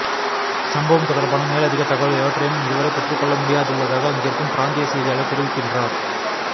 சம்பவம் தொடர்பான மேலதிக தகவல் எவற்றையும் இதுவரை பெற்றுக்கொள்ள முடியாதுள்ளதாக அங்கிருக்கும் பிராந்திய செய்தியாளர் தெரிவிக்கின்றார்